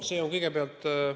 Aitäh!